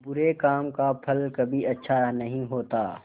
बुरे काम का फल कभी अच्छा नहीं होता